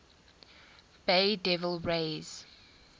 bay devil rays